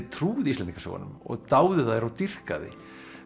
trúði Íslendingasögunum og dáði þær og dýrkaði